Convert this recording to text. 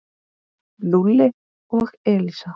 Lúlli og Elísa.